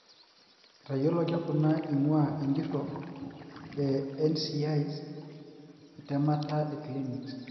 etayioloki kuna ingua enjuro e NCI's etemata e clinic.